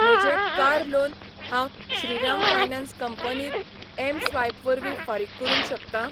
म्हजें car loan हांव Shriram finance कंपनीत एमस्वायप वरवीं फारीक करूंक शकतां?